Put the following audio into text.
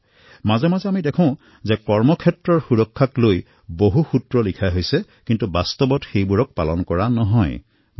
কেতিয়াবা আমি দেখোঁ যে কৰ্মস্থানত সুৰক্ষা সম্পৰ্কে বহু সূত্ৰ লিখা হৈছে কিন্তু সেয়া পালন কৰা দেখা নাযায়